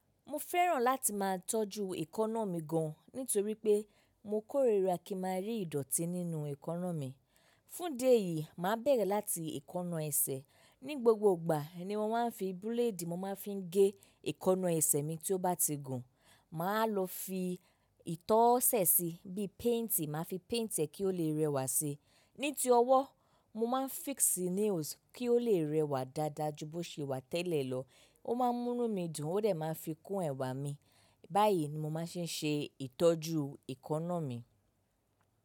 Mo fẹ́ràn láti máa tọ́jú èékánná mi gan nítorí pé mo kórìíra kí má rí ìdọ̀tí nínú èékánná mi. Fún'di eyìí, màá bẹ̀rẹ̀ láti èékánná ẹsẹ̀. Ni gbogbo ìgbà ni mọ́ máa n fi búléèdì mo máa n fi gé èékánná ẹsẹ̀ mi tí ó bá ti gùn. Màá lọ fi ìtọsẹ̀ síi bí i paint, màá fi paint ẹ kí ó lè rẹwà síi. Ní ti ọwọ́, mo máa n fix nails kí ó lè rẹwà dáadáa ju bó ṣe wà tẹ́lẹ̀ lọ. Ó máa ń múnu mí dùn ó dè máa n fi kún ẹ̀wà mi. Báyìí ni mo máa ṣe n ṣe ìtọ́jú èékánná mi.